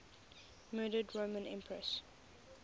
murdered roman empresses